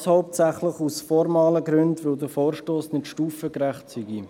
Dies hauptsächlich aus formalen Gründen, weil der Vorstoss nicht stufengerecht sei.